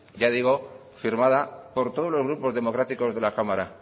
ya digo firmada por todos los grupos democráticos de la cámara